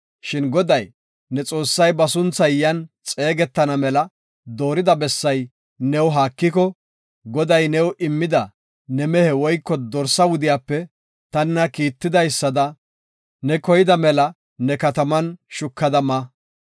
Shin Goday, ne Xoossay ba sunthay yan xeegetana mela doorida bessay new haakiko, Goday new immida ne mehe woyko dorsaa wudiyape ta nena kiittidaysada, ne koyida mela ne kataman shukada ma.